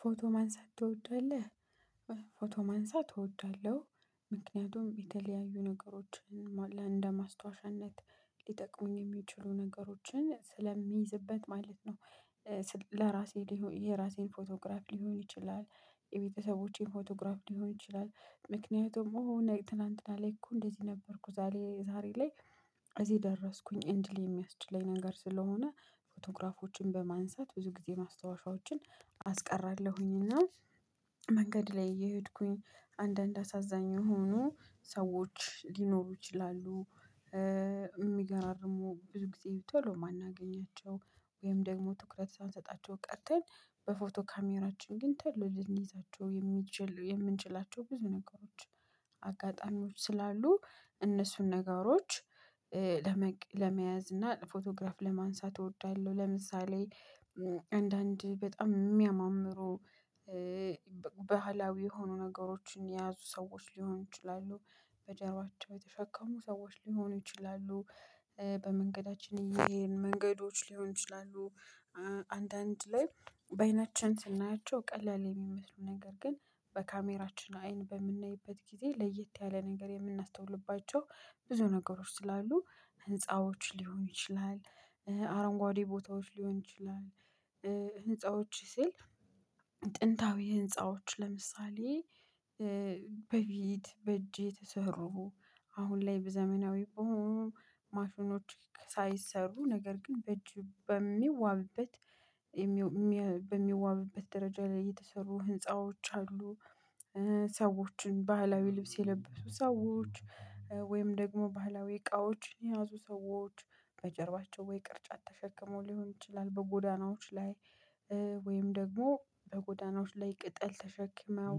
ፎቶ ማንሳት ትወዳለህ? ፎቶ ማንሳት እወዳለሁ ምክንያቱም የተለያዩ ነገሮችን እንደማስታወሻነት ሊጠቅሙኝ የሚችሉ ነገሮችን ስለሚይዝበት ማለት ነው። ለራሴ የራሴን ፎቶግራፍ ሊሆን ይችላል። የቤተሰቦቼን ፎቶግራፍ ሊሆን ይችላል። ምክንያቱም እኔ ትላንትና ላይ እኮ እንደዚህ ነበርኩ ዛሬ ዛሬ ላይ እዚህ ደረስኩኝ እንድል የሚያስችለኝ ነገር ስለሆነ ፎቶግራፎችን በማንሳት ብዙ ጊዜ ማስታወሻዎችን። መንገድ ላይ እየሄድኩኝ አንዳንድ አሳዛኝ ሆኖ ሰዎች ሊኖሩ ይችላሉ። የሚገራርሙ ብዙ ጊዜ ቶሎ የማናገኛቸው ወይም ደግሞ ትኩረት ሳንሰጣቸው ቀርተን በፎቶ ካሜራችን ግን ተሎ ልንይዛቸው የምንችል የምንችላቸው ብዙ ነገሮች። አጋጣሚዎች ስላሉ እነሱን ነገሮች ለመያዝ እና ፎቶግራፍ ለማንሳት እወዳለሁ። ለምሳሌ አንዳንድ በጣም የሚያማምሩ ባህላዊ የሆኑ ነገሮችን የያዙ ሰዎች ሊሆኑ ይችላሉ። በጀርባቸው የተሸከሙ ሰዎች ሊሆኑ ይችላሉ። በመንገዳችን ይሄን መንገዶች ሊሆን ይችላሉ። አንዳንድ ላይ በአይናችን ስናያቸው ቀላል የሚመስሉ ነገር ግን በካሜራችን አይን በምንይበት ጊዜ ለየት ያለ ነገር የምናስተውልባቸው ብዙ ነገሮች ስላሉ ህንፃዎች ሊሆን ይችላል። አረንጓዴ ቦታዎች ሊሆን ይችላል። ህፃዎች ስል ጥንታዊ ህንፃዎች ለምሳሌ በፊት በእጄ የተሰሩ አሁን ላይ ዘመናዊ በሆኑ ማሽኖች ሳይሰሩ ነገር ግን በእጅ በሚዋብበት በሚዋብበት ደረጃ ላይ የተሰሩ ህንፃዎች አሉ። ሰዎችን ባህላዊ ልብስ የለበሱ ሰዎች ወይም ደግሞ ባህላዊ እቃዎችን የያዙ ሰዎች በጀርባቸው ወይ ቅርጫት ተሸክመው ሊሆን ይችላል በጎዳናዎች ላይ ወይም ደግሞ በጎዳናዎች ላይ ቅጠል ተሸክመው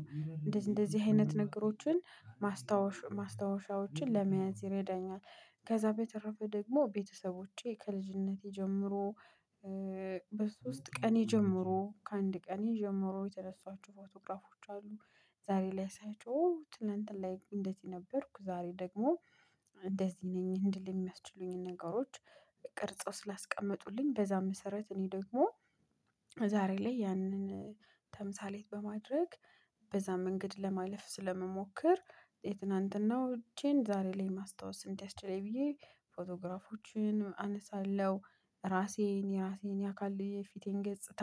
እንደዚህ እንደዚህ አይነት ንግሮችን ማስታወሻ ማስታወሻዎችን ለመያዝ ይረዳኛል። ከዛ በተረፈ ደግሞ ቤተሰቦቼ ከልጅነቴ ጀምሮ ቀኔ ጀምሮ ከአንድ ቀኔ ጀምሮ የተነሳኋቸው ፎቶግራፎች አሉ። ዛሬ ላይ ሳያቸው ትላንትና ላይ እንደዚህ ነበርኩ ዛሬ ደግሞ እንደዚህ ነኝ እንድል የሚያስችሉኝን ነገሮች። ቅርጸው ስላስቀመጡልኝ በዛ መሰረት እኔ ደግሞ ዛሬ ላይ ያንን ተምሳሌት በማድረግ በዛ መንገድ ለማለፍ ስለምሞክር የትናንትናው እጄን ዛሬ ላይ ማስታወስ እንዳስችለኝ ብየ ፎቶግራፎችን አነሳለሁ። ራሴን የራሴን ያካል የፊቴን ገጽታ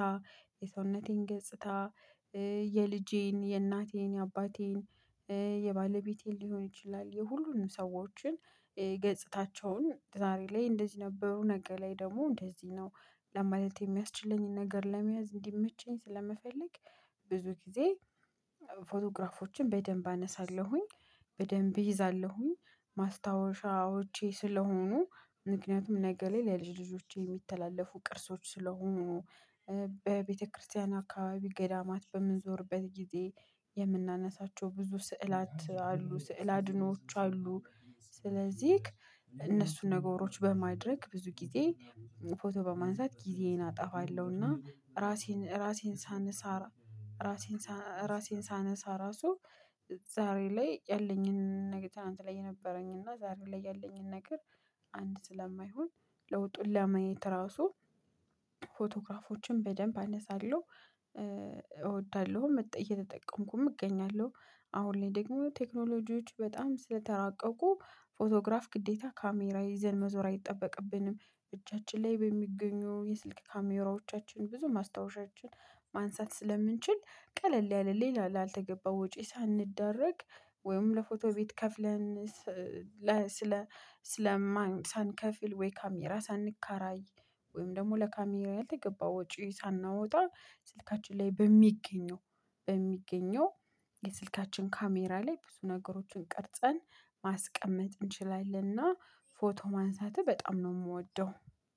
የሰውነቴን ገጽታ የልጄን የእናቴን የአባቴን የባለቤቴን ሊሆን ይችላል የሁሉንም ሰዎችን ገጽታቸውን ዛሬ ላይ እንደዚህ ነበሩ ነገ ላይ ደግሞ እንደዚህ ነው። ለማለት የሚያስችለኝን ነገር ለመያዝ እንዲመቸኝ ስለመፈለግ ብዙ ጊዜ ፎቶግራፎችን በደንብ አነሳለሁኝ። በደንብ እይዛለሁኝ ማስታወሻዎቼ ስለሆኑ ምክንያቱም ነገ ላይ ለልጅ ልጆቼ የሚተላለፉ ቅርሶች ስለሆኑ። በቤተክርስቲያን አካባቢ ገዳማት በምንዞርበት ጊዜ የምናነሳቸው ብዙ ስዕላት ስዕላድኖዎች አሉ። ስለዚህ እነሱን ነገሮች በማድረግ ብዙ ጊዜ ፎቶ በማንሳት ጊዜዬን አጠፋለሁና ራሴን ራሴን ሳንሳ ራሴን ሳነሳ ራሱ ዛሬ ላይ ያለኝን ነገር ትናት ላይ የነበረኝ እና ዛሬ ላይ ያለኝን ነገር። አንድ ስለማይሆን ለውጡን ለማየት ራሱ በደንብ አነሳለሁ እወዳለሁ እየተጠቀምኩም እገኛለሁ። አሁን ላይ ደግሞ ቴክኖሎጂዎች በጣም ስለተራቀቁ ፎቶግራፍ ግዴታ ካሜራ ይዘን መዞር አይጠበቅብንም። እጃችን ላይ በሚገኙ የስልክ ካሜራዎቻችን ብዙ ማስታወሻችን ማንሳት ስለምንችል ቀለል ያለ ሌላ ላልተገባ ወጪ ሳንደረግ ወይም ለፎቶ ቤት ከፍለን ስለ ስለማን ሳንከፍል ወይ ካሜራ ሳንካራይ ወይም ደግሞ ለካሜራ ያልተገባው የገባው ጪው ሳናወጣ ስልካችን ላይ በሚገኘው በሚገኘው የስልካችን ካሜራ ላይ ብዙ ነገሮችን ቀርጸን ማስቀመጥ እንችላለንና። ፎቶ ማንሳትህ በጣም ነው የምወደው